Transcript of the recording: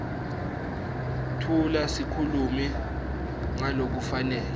tfula sikhulumi ngalokufanele